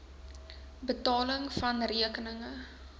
betaling vna rekeninge